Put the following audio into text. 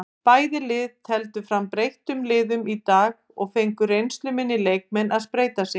Bæði lið tefldu fram breyttum liðum í dag og fengu reynsluminni leikmenn að spreyta sig.